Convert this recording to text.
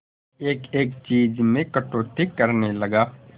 एक एक चीज में कटौती करने लगा